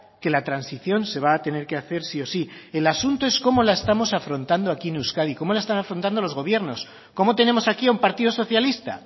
que la transición se va a tener que hacer sí o sí el asunto es cómo la estamos afrontando aquí en euskadi cómo la están afrontando los gobiernos cómo tenemos aquí a un partido socialista